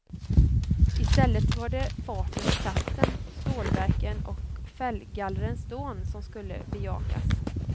I stället var det farten och kraften, stålverken och fällgallrens dån som skulle bejakas.